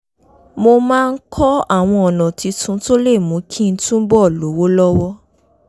mo máa ń kọ́ àwọn ọ̀nà tuntun tó lè mú kí n túbọ̀ lówó lọ́wọ́